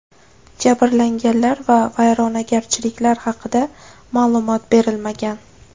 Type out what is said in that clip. Jabrlanganlar va vayronagarchiliklar haqida ma’lumot berilmagan.